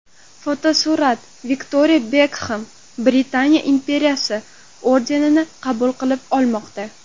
Fotosurat: Viktoriya Bekhem Britaniya imperiyasi ordenini qabul qilib olmoqda.